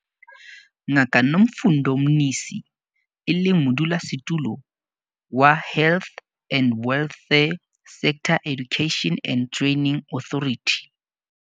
Ngaka Nomfundo Mnisi, e leng Modulasetulo wa HWSETA.